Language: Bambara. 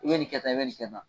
I bɛ nin kɛ tan i bɛ nin kɛ tan.